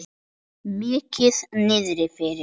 Mikið niðri fyrir.